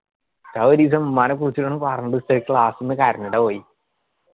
ഉസ്താദ് ഒരീസം ഉമ്മാനെ കൂട്ടിവരണോ പറഞ്ഞിട്ട് ഉസ്താദ് class ന്ന്‌ കരഞ്ഞിട്ടാ പോയ്